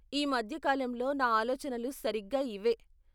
ఈ మధ్య కాలంలో నా ఆలోచనలు సరిగ్గా ఇవే.